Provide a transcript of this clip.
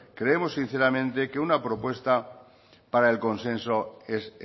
creemos sinceramente que una propuesta para el consenso es